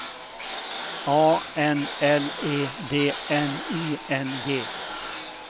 A N L E D N I N G